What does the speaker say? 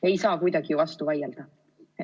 Ei saa kuidagi ju vastu vaielda.